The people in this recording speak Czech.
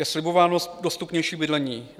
Je slibováno dostupnější bydlení.